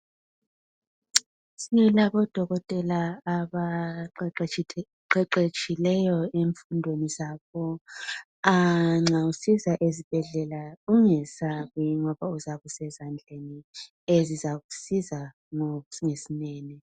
Silabodokotela abaqeqetshileyo emfundweni zabo, nxa usiza esibhedlela ungesabi ngoba uzabe usezandleni ezizakusiza ngesineke.